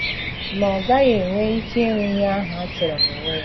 Ma, ọ gaghị enwe ike iru ihe ahụ a chọrọ n’onwe ya.